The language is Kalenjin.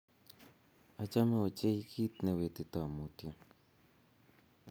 Achome ochei kiit ne wetitoi mutyo.